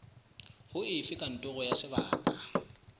ho efe kantoro ya sebaka